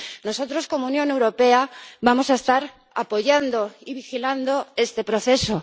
Nosotros como Unión Europea vamos a estar apoyando y vigilando este proceso.